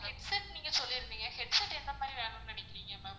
headset நீங்க சொல்லிருந்தீங்க headset எந்த மாதிரி வேணும்னு நினைக்குறீங்க ma'am